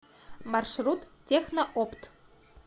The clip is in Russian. маршрут техноопт